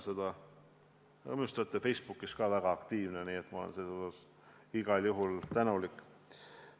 Minu arust olete te ka Facebookis väga aktiivne, nii et ma olen selle eest igal juhul tänulik.